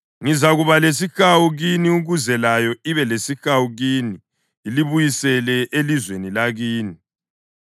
Ngizakuba lesihawu kini ukuze layo ibe lesihawu kini ilibuyisele elizweni lakini.’